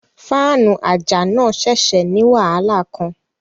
Fáànù àjà náà ṣẹ̀ṣẹ̀ ní wàhálà kan